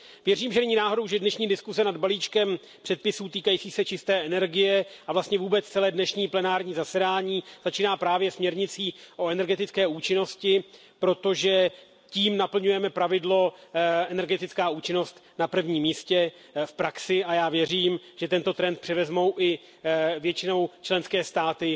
Věřím, že není náhodou, že dnešní diskuze nad balíčkem předpisů, týkajících se čisté energie, a vlastně vůbec celé dnešní plenární zasedání, začíná právě směrnicí o energetické účinnosti, protože tím naplňujeme pravidlo energetická účinnost na prvním místě v praxi, a já věřím, že tento trend převezme i většina členských států